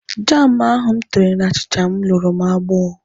Jam ahụ m tere n'achicha m luru m agbọ.